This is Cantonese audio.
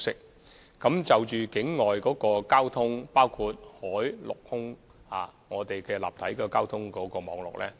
我們不時檢討現有的境外交通情況，包括海、陸、空的立體交通網絡。